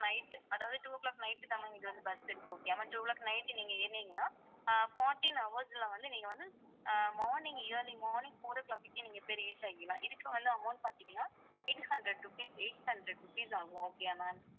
night அதாவது two o'clock night தான் ma'am இது வந்து bus இருக்கு okay யா ma'am அதாவது two o'clock night நீங்க ஏறுனீங்கன்னா ஆஹ் fourteen hourse ல வந்து நீங்க வந்து ah morning early morning four o'clock க்கே நீங்க போய் reach ஆயிடலாம் இதுக்கு வந்து amount பாத்தீங்கன்னா eight hundred rupees eight hundred rupees ஆகும் okay யா ma'am